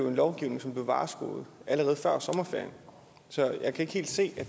en lovgivning som blev varskoet allerede før sommerferien så jeg kan ikke helt se at